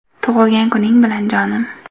Tug‘ilgan kuning bilan, jonim”.